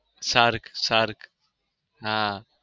SAARC SAARC હા.